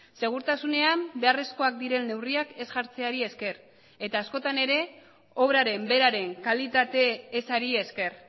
segurtasunean beharrezkoak diren neurriak ez jartzeari esker eta askotan ere obraren beraren kalitate ezari esker